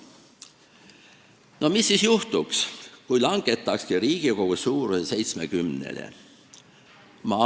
No mis siis juhtuks, kui langetakski Riigikogu suuruse 70-le?